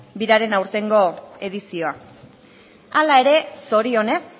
biraren aurtengo edizioa hala ere zorionez